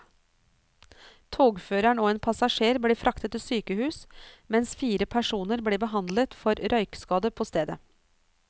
Togføreren og en passasjer ble fraktet til sykehus, mens fire personer ble behandlet for røykskade på stedet.